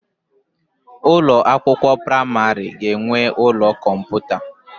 Ụlọ akwụkwọ praimari ga-enwe ụlọ kọmputa.